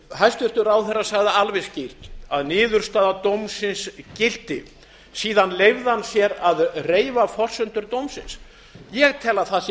hæstvirtur ráðherra sagði alveg skýrt að niðurstaða dómsins gilti síðan leyfði hann sér að reifa forsendur dómsins ég tel að það sé